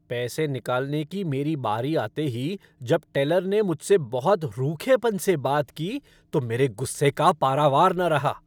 पैसे निकालने की मेरी बारी आते ही जब टेलर ने मुझसे बहुत रूखेपन से बात की तो मेरे गुस्से का पारावार न रहा।